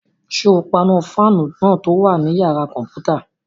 Ṣé o paná fáànù náà tó wà ní yàrá-kọ̀mpútà?